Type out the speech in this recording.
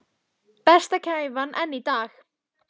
Besta kæfan enn í dag.